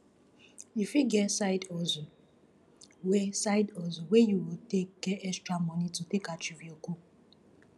you fit get side hustle wey side hustle wey you go take get extra money to take achive your goal